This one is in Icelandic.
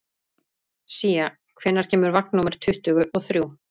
Sía, hvenær kemur vagn númer tuttugu og þrjú?